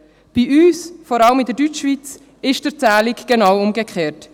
Bei uns, vor allem in der Deutschschweiz, ist die Erzählung genau umgekehrt.